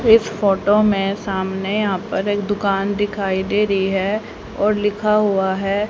इस फोटो में सामने यहां पर एक दुकान दिखाई दे रही है और लिखा हुआ है--